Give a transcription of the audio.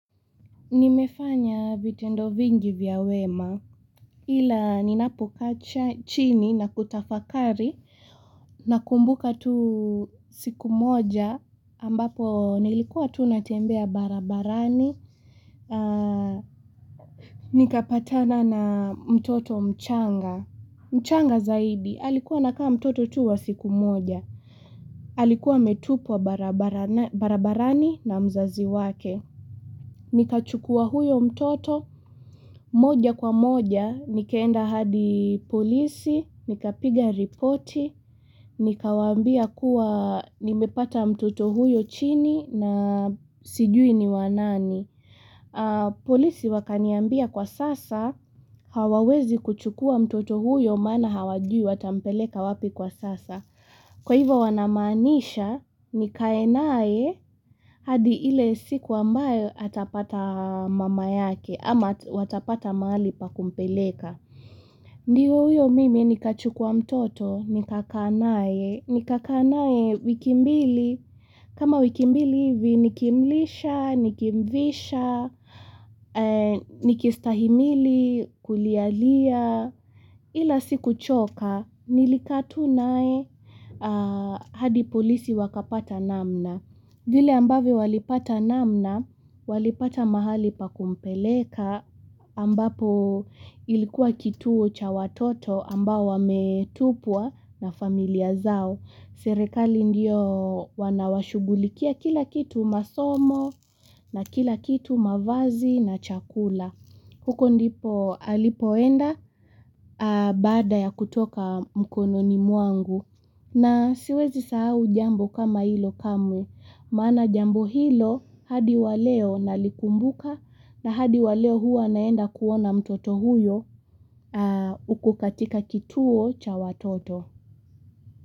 Nimefanya vitendo vingi vya wema ila ninapokacha chini na kutafakari Nakumbuka tu siku moja ambapo nilikuwa tunatembea barabarani Nikapatana na mtoto mchanga mchanga zaidi, alikuwa anakaa mtoto tu wa siku moja alikuwa ametupwa barabarani na mzazi wake Nikachukua huyo mtoto moja kwa moja nikaenda hadi polisi, nikapiga ripoti, nikawambia kuwa nimepata mtoto huyo chini na sijui ni wanani. Polisi wakaniambia kwa sasa hawawezi kuchukua mtoto huyo maana hawajui watampeleka wapi kwa sasa. Kwa hivyo wanamaanisha, nikae nae hadi ile siku ambayo atapata mama yake ama watapata mahali pakumpeleka. Ndiyo uyo mimi ni kachukua mtoto, ni kakaa nae, ni kakaa nae wikimbili. Kama wikimbili hivi nikimlisha, nikimvisha, nikistahimili, kulialia, ila siku choka, nilikaa tu nae hadi polisi wakapata namna. Vile ambavyo walipata namna, walipata mahali pakumpeleka, ambapo ilikuwa kituo cha watoto ambao wametupwa na familia zao. Serekali ndio wanawashugulikia kila kitu masomo na kila kitu mavazi na chakula. Huko ndipo alipoenda baada ya kutoka mkono ni mwangu na siwezi sahau jambo kama hilo kamwe. Mana jambo hilo hadi waleo nalikumbuka na hadi waleo huwa naenda kuona mtoto huyo uku katika kituo cha watoto.